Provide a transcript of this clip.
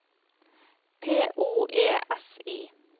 P O E S I